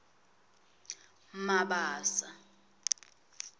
mabasa